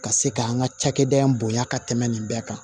Ka se ka an ka cakɛda in bonya ka tɛmɛ nin bɛɛ kan